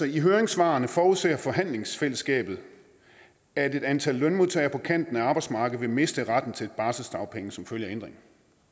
i høringssvarene forudser forhandlingsfællesskabet at et antal lønmodtagere på kanten af arbejdsmarkedet vil miste retten til barselsdagpenge som følge af ændringerne